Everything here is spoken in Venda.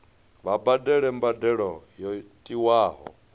vha badele mbadelo yo tiwaho